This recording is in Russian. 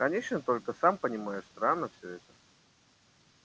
конечно только сам понимаешь странно всё это